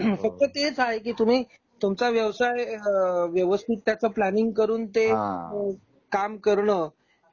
फक्त तेच आहे कि तुम्ही तुमचा व्यवसाय व्यवस्थित त्याचा प्लॅनिंग करून ते काम करन